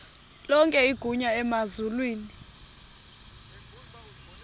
lonke igunya emazulwini